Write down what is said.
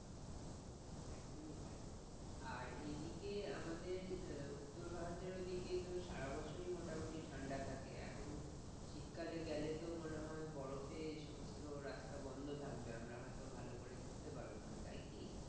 আর এইদিকে আমাদের উত্তর ভারতের দিকে তো সারবছর মোটামুটি ঠান্ডা থাকে, এখন শীতকালে গেলে তো মনে হয় বরফের সমস্ত রাস্তা বন্ধ থাকবে, আমরা হয়তো ভালো করে করতে পারবোনা, তাই কি?